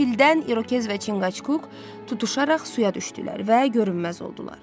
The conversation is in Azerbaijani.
Qəfildən İrokez və Çinqaçuk tutuşaraq suya düşdülər və görünməz oldular.